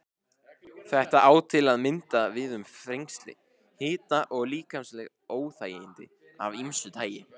Þetta á til að mynda við um þrengsli, hita og líkamleg óþægindi af ýmsu tagi.